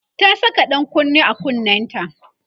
ta Saka ɗan kunne a kunnenta